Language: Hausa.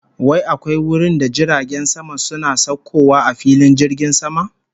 Wai akwai wurinda jiragen sama suna saukowa a filin jirgin sama?